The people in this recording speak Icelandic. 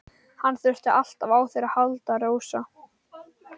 Hann þurfti alltaf á þér að halda, Rósa.